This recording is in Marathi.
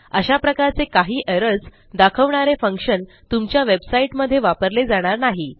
अशा प्रकारचे काही एरर्स दाखवणारे फंक्शन तुमच्या वेबसाईटमध्ये वापरले जाणार नाही